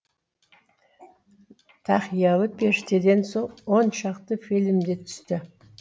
тақиялы періштеден соң оншақты фильмдерде түсті